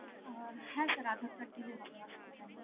আহ, হ্যাঁ sir Aadhaar card দিলে হবে, অসুবিধা নেই.